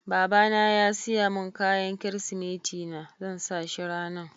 Baba na ya siya mun kayan kiristimeti na, zan sa shi ranan.